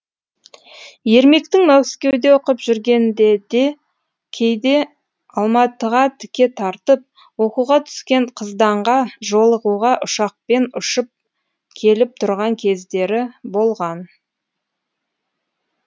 ермектің мәскеуде оқып жүргенде де кейде алматыға тіке тартып оқуға түскен қызданға жолығуға ұшақпен ұшып келіп тұрған кездері болған